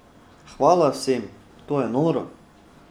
Hvala vsem, to je noro!